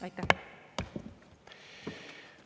Aitäh!